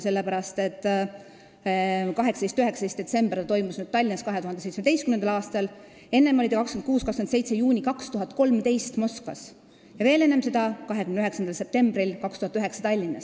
See toimus nüüd 18. ja 19. detsembril 2017 Tallinnas, enne seda oli see toimunud 26. ja 27. juunil 2013 Moskvas ning veel enne seda 29. septembril 2009 Tallinnas.